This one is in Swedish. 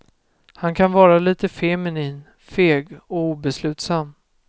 Han kan vara lite feminin, feg och obeslutsam.